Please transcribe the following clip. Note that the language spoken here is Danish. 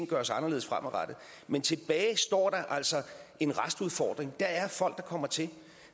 gøres anderledes fremadrettet men tilbage står der altså en restudfordring der er folk der kommer til